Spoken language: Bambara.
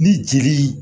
Ni jeli